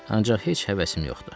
Ancaq heç həvəsim yoxdur.